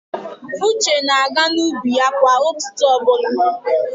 Uche na-aga n'ubi ya kwa ụtụtụ ọbụla.